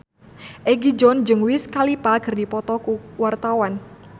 Egi John jeung Wiz Khalifa keur dipoto ku wartawan